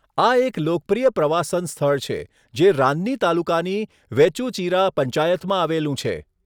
આ એક લોકપ્રિય પ્રવાસન સ્થળ છે, જે રાન્ની તાલુકાની વેચૂચિરા પંચાયતમાં આવેલું છે.